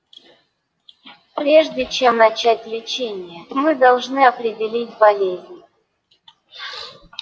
прежде чем начать лечение мы должны определить болезнь